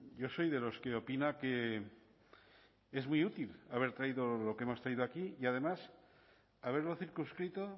yo soy de los que opina que es muy útil haber traído lo que hemos traído aquí y además haberlo circunscrito